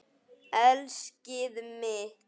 Elskið mitt!